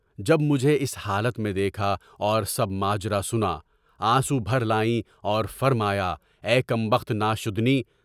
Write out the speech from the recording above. جب مجھے اس حالت میں دیکھا اور سب ماجرا سنا، آنسو بھر لائے اور فرمایا: کم بخت ناشادنی!